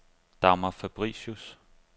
Dagmar Fabricius